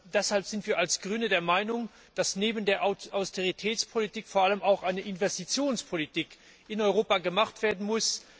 Deshalb sind wir als Grüne der Meinung, dass neben der Austeritätspolitik vor allem auch eine Investitionspolitik in Europa betrieben werden muss.